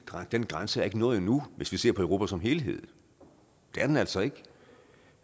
den grænse er ikke nået endnu hvis vi ser på europa som helhed det er den altså ikke